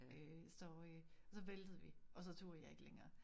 Øh så øh og så væltede vi og så turde jeg ikke længere